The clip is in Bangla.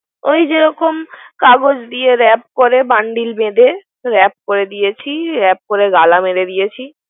ওই যে যেরক কাগজ দিয়ে র‌্যাপ করে Bundiel বেধে। র‌্যাপ করে দিয়েছি, র‌্যাপ করে গালা মারা দিয়েছি।